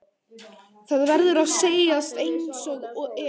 Það verður að segjast einsog er.